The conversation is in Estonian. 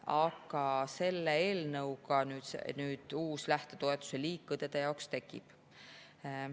Aga selle eelnõuga uus lähtetoetuse liik õdede jaoks tekib.